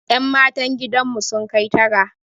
Yan matan gidan mu sun kai tara